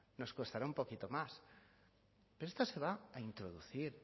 nos costará un poquito más pero esto se va a introducir